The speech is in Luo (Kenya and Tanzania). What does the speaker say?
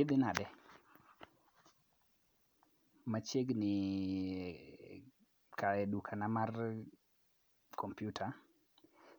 Idhi nade. Machiegni e dukana mar kompyuta.